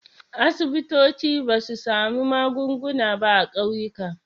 Asibitoci ba su sami magunguna ba a ƙauyuka.